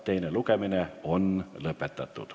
Teine lugemine on lõppenud.